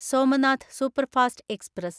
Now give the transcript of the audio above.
Somnath superfast express